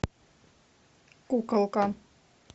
куколка